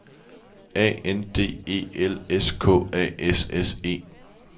A N D E L S K A S S E